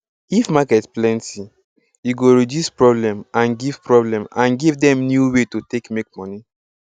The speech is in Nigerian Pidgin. if market plenty e go reduce problem and give problem and give dem new way to take make money